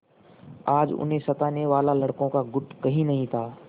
आज उन्हें सताने वाला लड़कों का गुट कहीं नहीं था